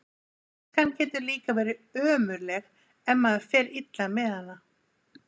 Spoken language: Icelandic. Æskan getur líka verið ömurleg ef maður fer illa með hana.